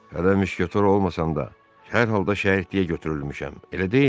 Hələ müşketor olmasam da, hər halda şərikliyə götürülmüşəm.